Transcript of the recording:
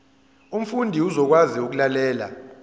umfundi uzokwazi ukulalela